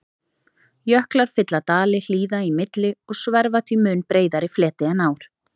Jöklar fylla dali hlíða í milli og sverfa því mun breiðari fleti en ár.